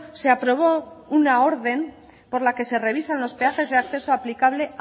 se aprobó una orden por la que se revisan los peajes de acceso aplicable